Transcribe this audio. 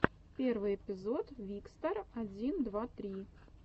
первый эпизод викстар один два три